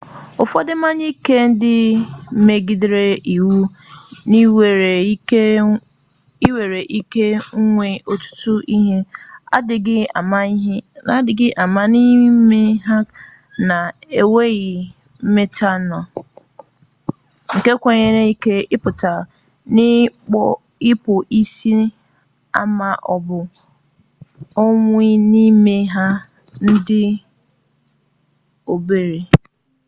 ụfọdụ mmanya ike ndị megidere iwu nwere ike nwee ọtụtụ ihe adịghị mma n'ime ha na-agụnye metanọl nke nwere ike ịkpata ikpu isi ma ọ bụ ọnwụ n'ime nha ndị dị obere